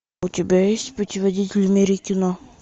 у тебя есть путеводитель в мире кино